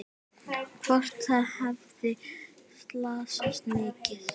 Hvort það hefði slasast mikið.